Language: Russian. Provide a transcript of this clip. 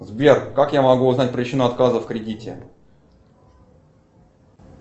сбер как я могу узнать причину отказа в кредите